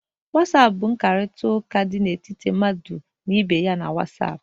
Wọsapịn bụ nkparịta ụka di etiti mmadụ na ibe ya na Wọsapụ.